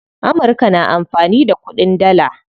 Amurka na amfani da kuɗin dalla.